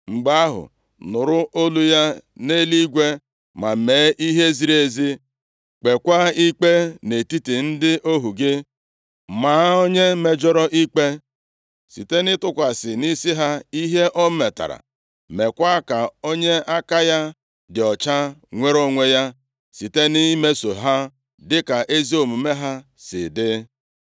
mgbe ahụ, nụrụ olu ya nʼeluigwe ma mee ihe ziri ezi, kpeekwa ikpe nʼetiti ndị ohu gị. Maa onye mejọrọ ikpe site nʼịtụkwasị nʼisi ha ihe o metara, meekwa ka onye aka ya dị ọcha nwere onwe ya, site nʼimeso ha dịka ezi omume ha si dị.